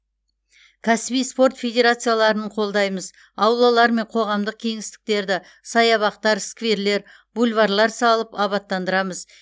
кәсіби спорт федерацияларын қолдаймыз аулалар мен қоғамдық кеңістіктерді саябақтар скверлер бульварлар салып абаттандырамыз